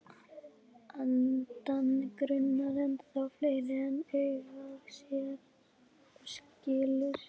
Andann grunar ennþá fleira en augað sér og skilur.